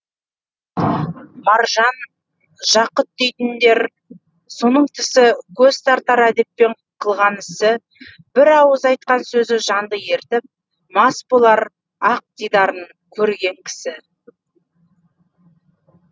маржан жақұт дейтіндер соның тісі көз тартар әдеппенен қылған ісі бір ауыз айтқан сөзі жанды ерітіп мас болар ақ дидарын көрген кісі